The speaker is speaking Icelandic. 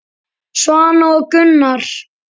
Svana og Gunnar.